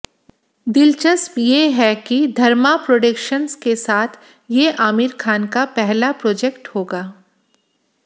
दिलचस्प ये है कि धर्मा प्रोडक्शन्स के साथ ये आमिर खान का पहला प्रोजेक्ट होगा